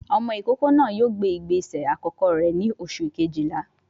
Ọmọ ìkókó náà yóò gbé ìgbésẹ̀ àkọ́kọ́ rẹ̀ ní oṣù Kejìlá